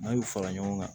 N'a y'u fara ɲɔgɔn kan